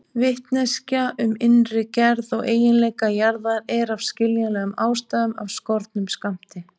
Vitneskja um innri gerð og eiginleika jarðar er af skiljanlegum ástæðum af skornum skammti.